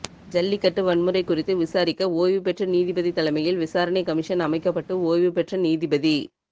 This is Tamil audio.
ஜல்லிக்கட்டு வன்முறை குறித்து விசாரிக்க ஓய்வுபெற்ற நீதிபதி தலைமையில் விசாரணை கமிஷன் அமைக்கப்பட்டு ஓய்வு பெற்ற நீதிபதி